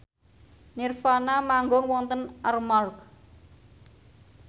nirvana manggung wonten Armargh